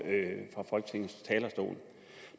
fra folketingets talerstol